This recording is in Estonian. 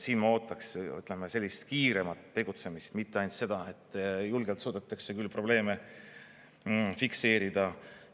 Siin ma ootaks sellist kiiremat tegutsemist, mitte ainult seda, et julgelt suudetakse küll probleeme fikseerida.